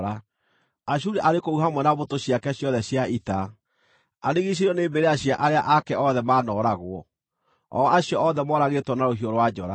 “Ashuri arĩ kũu hamwe na mbũtũ ciake ciothe cia ita; arigiicĩirio nĩ mbĩrĩra cia arĩa ake othe maanooragwo, o acio othe moragĩtwo na rũhiũ rwa njora.